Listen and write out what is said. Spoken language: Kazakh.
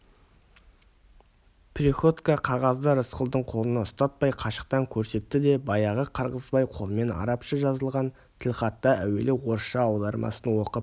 приходько қағазды рысқұлдың қолына ұстатпай қашықтан көрсетті де баяғы қырғызбай қолымен арабша жазылған тілхаттың әуелі орысша аудармасын оқып